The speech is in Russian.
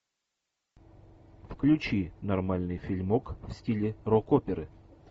включи нормальный фильмок в стиле рок оперы